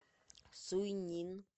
суйнин